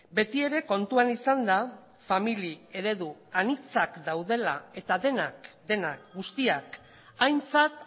beti ere kontuan izanda famili eredu anitzak daudela eta denak denak guztiak aintzat